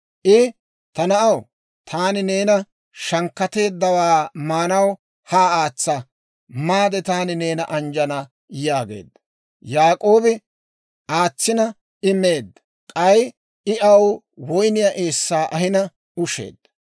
I, «Ta na'aw, taani neeni shankkateeddawaa maanaw haa aatsa; maade taani neena anjjana» yaageedda. Yaak'oobi aatsina, I meedda; k'ay I aw woyniyaa eessaa ahina usheedda.